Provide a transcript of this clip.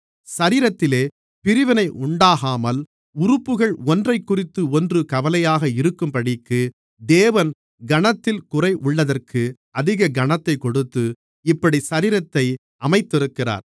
சரீரத்திலே பிரிவினை உண்டாகாமல் உறுப்புகள் ஒன்றைக்குறித்து ஒன்று கவலையாக இருக்கும்படிக்கு தேவன் கனத்தில் குறைவுள்ளதற்கு அதிக கனத்தைக் கொடுத்து இப்படிச் சரீரத்தை அமைத்திருக்கிறார்